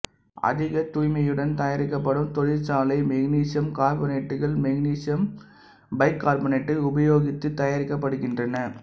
அதிகத் தூய்மையுடன் தயாரிக்கப்படும் தொழிற்சாலை மக்னீசியம் கார்பனேட்டுகள் மக்னீசியம் பைகார்பனேட்டை உபயோகித்து தயாரிக்கப்படுகின்றன